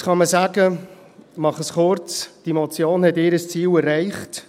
Jetzt kann man sagen – ich mache es kurz –, diese Motion hat ihr Ziel erreicht.